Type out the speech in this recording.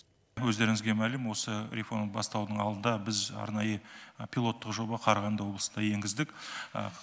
өздеріңізге мәлім осы реформа басталардың алдында біз арнайы пилоттық жоба қарағанды облысына енгіздік